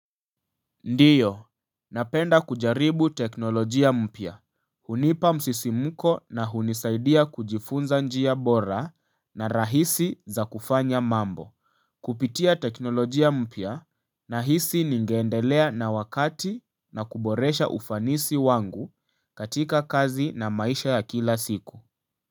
Ndiyo, napenda kujaribu teknolojia mpya. Hunipa msisimko na hunisaidia kujifunza njia bora na rahisi za kufanya mambo. Kupitia teknolojia mpya nahisi ningeendelea na wakati na kuboresha ufanisi wangu katika kazi na maisha ya kila siku.